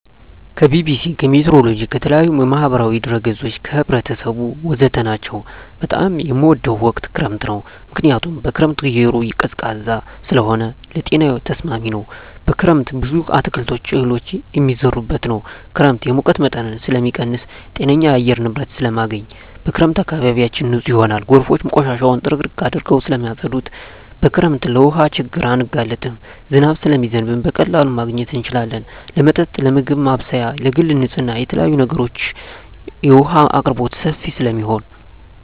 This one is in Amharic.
ከቢቢሲ, ከሜትሮሎጅ, ከተለያዪ የማህበራዊ ድረ ገፆች , ከህብረተሰቡ ወዘተ ናቸው። በጣም የምወደው ወቅት ክረምት ነው ምክንያቱም በክረምት አየሩ ቀዝቃዛ ስለሆነ ለጤናዬ ተስማሚ ነው። በክረምት ብዙ አትክልቶች እህሎች የሚዘሩበት ነው። ክረምት የሙቀት መጠንን ስለሚቀንስ ጤነኛ የአየር ንብረት ስለማገኝ። በክረምት አካባቢያችን ንፁህ ይሆናል ጎርፎች ቆሻሻውን ጥርግርግ አድርገው ስለማፀዱት። በክረምት ለውሀ ችግር አንጋለጥም ዝናብ ስለሚዘንብ በቀላሉ ማግኘት እንችላለን ለመጠጥ ለምግብ ማብሰያ ለግል ንፅህና ለተለያዪ ነገሮች የውሀ አቅርቦት ሰፊ ስለሚሆን።